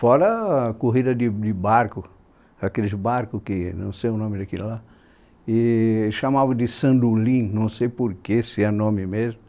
Fora a corrida de de barco, aqueles barcos que, não sei o nome daquilo lá, chamavam de sandolim, não sei porquê, se é nome mesmo.